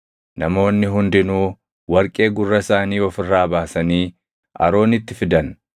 Namoonni hundinuu warqee gurra isaanii of irraa baasanii Aroonitti fidan.